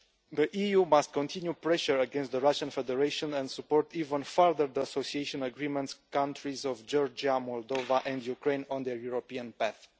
The EU must continue pressure against the Russian Federation and support even further the association agreement countries of Georgia, Moldova and Ukraine on their European path.